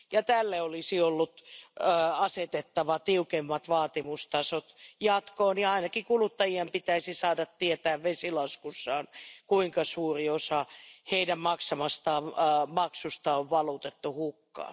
Tälle olisi ollut asetettava tiukemmat vaatimustasot jatkossa, ja ainakin kuluttajien pitäisi saada tietää vesilaskussaan, kuinka suuri osa heidän maksamastaan maksusta on valutettu hukkaan.